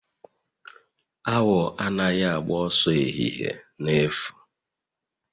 Awọ anaghị agba ọsọ ehihie na-efu